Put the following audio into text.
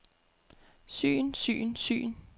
syn syn syn